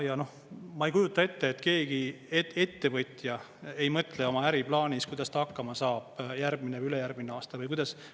Ma ei kujuta ette, et keegi ettevõtja ei mõtle oma äriplaanis, kuidas ta hakkama saab järgmine või ülejärgmine aasta või kuidas.